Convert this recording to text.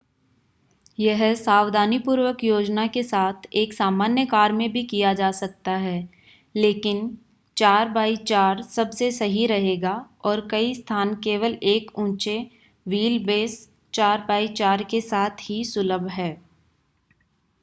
यह सावधानीपूर्वक योजना के साथ एक सामान्य कार में भी किया जा सकता है लेकिन 4x4 सबसे सही रहेगा और कई स्थान केवल एक ऊँचे व्हील-बेस 4x4 के साथ ही सुलभ हैं।